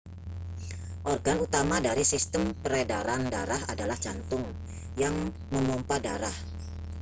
organ utama dari sistem peredaran darah adalah jantung yang memompa darah